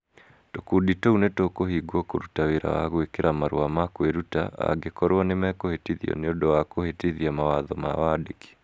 Tũkundi tũu nĩ tũkũhingwo kũruta wĩra wa gwĩkĩra marũa ma kwĩruta angĩkorũo nĩ mekũhĩtithio nĩ ũndũ wa kũhĩtithia mawatho ma wandĩki.